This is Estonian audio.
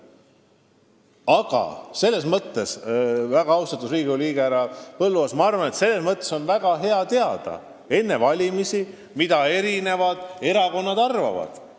Aga väga austatud Riigikogu liige härra Põlluaas, ma arvan, et on väga hea teada enne valimisi, mida eri erakonnad ühest või teisest asjast arvavad.